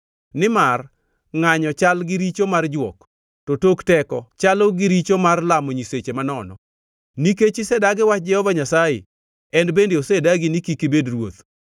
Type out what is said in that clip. nimar ngʼanyo chal gi richo mar jwok, to tok teko chalo gi richo mar lamo nyiseche manono. Nikech isedagi wach Jehova Nyasaye En bende osedagi ni kik ibed ruoth.”